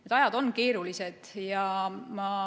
Need ajad on keerulised.